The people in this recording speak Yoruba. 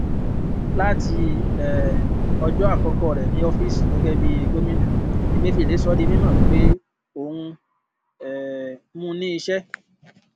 láti um ọjọ àkọkọ rẹ ní oofiisi gẹgẹ bí gómìnà emefiele sọ di mímọ wípé òun um mú ní iṣẹ